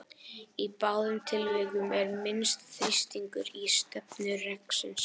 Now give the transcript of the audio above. Í báðum tilvikum er minnsti þrýstingur í stefnu reksins.